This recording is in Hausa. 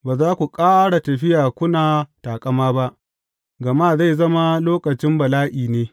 Ba za ku ƙara tafiya kuna taƙama ba, gama zai zama lokacin bala’i ne.